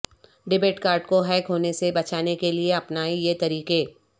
debit card کو hack ہونے سے بچانے کے لئے اپنائیں یہ طریقے